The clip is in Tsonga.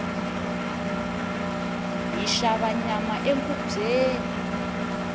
hi xava nyama enkhubyeni